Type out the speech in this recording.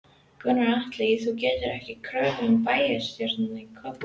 Gunnar Atli: Þú gerðir ekki kröfu um bæjarstjórastólinn í Kópavogi?